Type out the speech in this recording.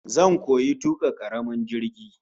Zan koyi tuka karamin jirgi